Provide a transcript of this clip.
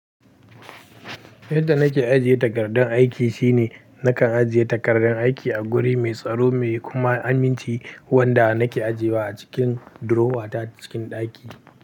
Yadda na ke ajiye takardun aiki shine na kan ajiye takardun aiki a guri mai tsaro mai kuma aminci wanda na ke ajiyewa a cikin durowa ta cikin ɗaki.